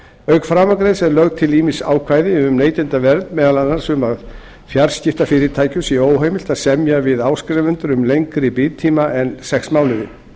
auk framangreinds eru lögð til ýmis ákvæði um neytendavernd meðal annars um að fjarskiptafyrirtækjum sé óheimilt að semja við áskrifendur um lengri binditíma en sex mánuði